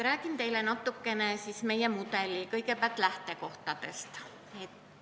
Räägin teile kõigepealt natuke meie mudeli lähtekohtadest.